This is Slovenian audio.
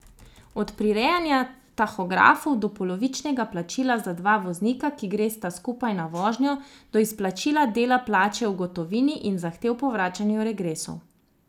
Od prirejanja tahografov do polovičnega plačila, za dva voznika, ki gresta skupaj na vožnjo, do izplačila dela plače v gotovini in zahtev po vračanju regresov.